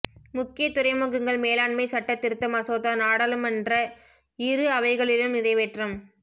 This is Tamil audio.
முக்கிய துறைமுகங்கள் மேலாண்மை சட்ட திருத்த மசோதா நாடாளுமன்ற இரு அவைகளிலும் நிறைவேற்றம்